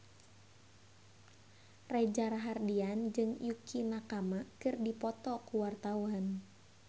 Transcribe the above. Reza Rahardian jeung Yukie Nakama keur dipoto ku wartawan